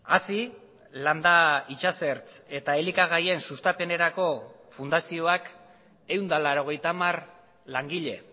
hazi landa itsasertz eta elikagaien sustapenerako fundazioak ehun eta laurogeita hamar langile